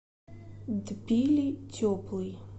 тбили теплый